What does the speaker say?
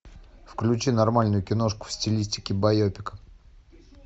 включи нормальную киношку в стилистике байопик